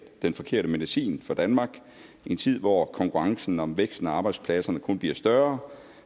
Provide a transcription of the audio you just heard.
den forkerte medicin for danmark i en tid hvor konkurrencen om væksten og arbejdspladserne kun bliver større